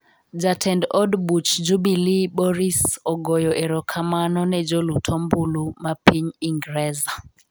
Jatend od buch Jubilee Boris ogoyo erokamano ne jolut ombulu me piny Ingreza